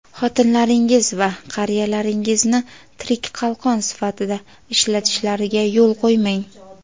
xotinlaringiz va qariyalaringizni tirik qalqon sifatida ishlatishlariga yo‘l qo‘ymang.